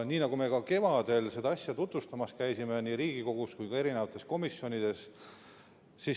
Me käisime ka kevadel seda asja tutvustamas nii Riigikogus kui ka komisjonides.